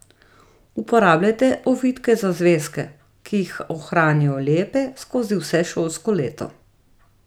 Uporabljajte ovitke za zvezke, ki jih ohranijo lepe skozi vse šolsko leto.